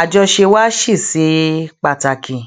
àjọṣe wa ṣì ṣe pàtàkì